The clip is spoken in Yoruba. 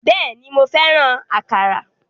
Bẹ́ẹ̀ni, mo fẹ́ràn àkàrà.